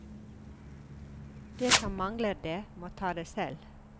De som mangler det, må ta det selv.